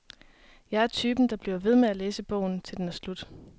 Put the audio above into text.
Jeg er typen, der bliver ved med at læse til bogen er slut.